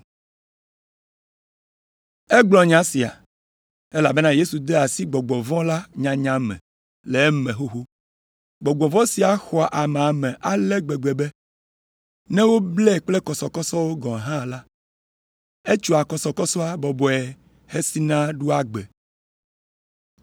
Egblɔ nya sia, elabena Yesu de asi gbɔgbɔ vɔ̃ la nyanya me le eme xoxo. Gbɔgbɔ vɔ̃ sia xɔ amea me ale gbegbe be ne woblae kple gakɔsɔkɔsɔ hã la, etsoa kɔsɔkɔsɔa bɔbɔe hesina ɖoa gbe.